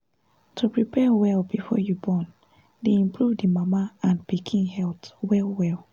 to prepare well before you born dey improve d mama and pikin health well well